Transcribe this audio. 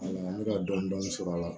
An bɛ ka dɔni dɔni sɔrɔ a la